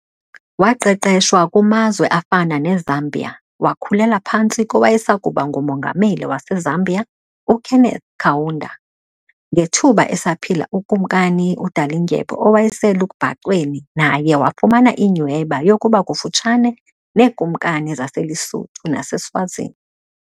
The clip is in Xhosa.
Waqeqeshwa kumazwe afana neZambia wakhulela phantsi kowayesakuba nguMongameli waseZambia uKenneth Kaunda, ngethuba esaphila uKumkani uDalindyebo owayeselubhacweni naye wafumana inyhweba yokuba kufutshane neekumkani zaseLesotho naseSwazini.